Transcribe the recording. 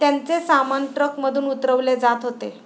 त्यांचे सामान ट्रकमधून उतरवले जात होते.